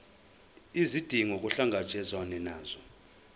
izidingo kuhlangatshezwane nazo